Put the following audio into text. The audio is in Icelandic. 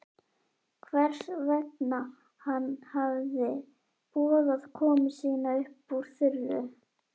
Hvers vegna hann hefði boðað komu sína upp úr þurru.